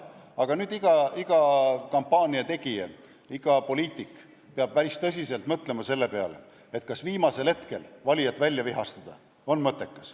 Aga nüüd peaks iga kampaaniategija, iga poliitik päris tõsiselt mõtlema selle peale, et kas viimasel hetkel on mõttekas valijat välja vihastada või ei ole.